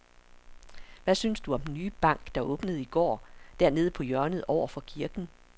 Hvad synes du om den nye bank, der åbnede i går dernede på hjørnet over for kirken?